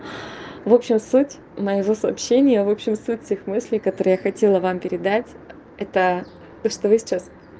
в общем суть моего сообщения в общем суть всех мыслей которые я хотела вам передать это то что вы сейчас